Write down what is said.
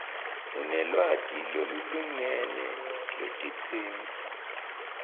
unelwati lolulingene lwetidzingo